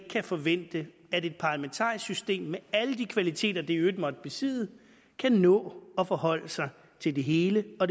forvente at et parlamentarisk system med alle de kvaliteter det i øvrigt måtte besidde kan nå at forholde sig til det hele og